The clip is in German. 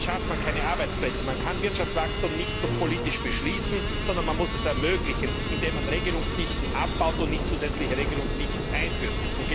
Damit schafft man keine Arbeitsplätze! Man kann Wirtschaftswachstum nicht politisch beschließen, sondern man muss es ermöglichen, indem man Regelungsdichten abbaut und nicht zusätzliche Regelungsdichten einführt!